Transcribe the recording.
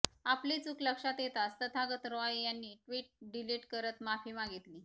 आपली चूक लक्षात येताच तथागत रॉय यांनी ट्विट डिलीट करत माफी मागितली